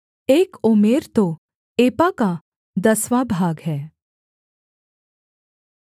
एक ओमेर तो एपा का दसवाँ भाग है